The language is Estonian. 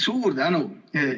Suur tänu!